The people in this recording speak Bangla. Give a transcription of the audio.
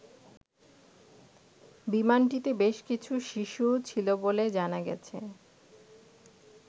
বিমানটিতে বেশ কিছু শিশুও ছিল বলে জানা গেছে।